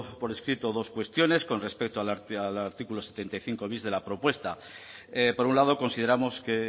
por escrito dos cuestiones con respecto al artículo setenta y cinco bis de la propuesta por un lado consideramos que